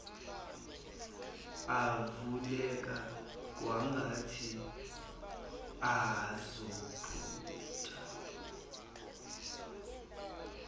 avuleka kwangathi azophuma